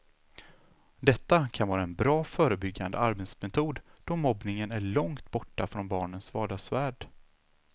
Detta kan vara en bra förebyggande arbetsmetod då mobbningen är långt borta från barnens vardagsvärld.